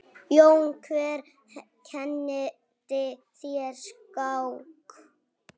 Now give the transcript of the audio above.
Jón: Hver kenndi þér skák?